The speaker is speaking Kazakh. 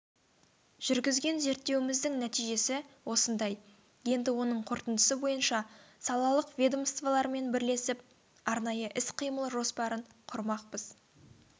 жүргізген зерттеуіміздің нәтижесі осындай енді оның қорытындысы бойынша салалық ведомстволармен бірлесіп арнайы іс-қимыл жоспарын құрмақпыз